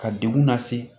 Ka degun lase